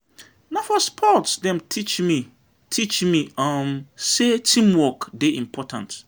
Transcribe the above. Na for sports dem teach me teach me um sey teamwork dey important.